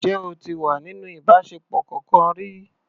Ǹjẹ́ o ti wà nínú ìbáṣepọ̀ kọkan rí?